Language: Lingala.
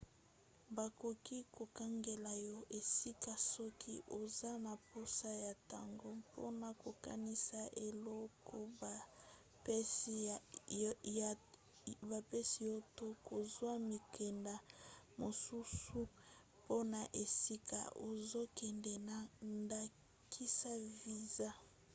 bakoki kokangela yo esika soki oza na mposa ya ntango mpona kokanisa eloko bapesi yo to kozwa mikanda mosusu mpona esika ozokende na ndakisa viza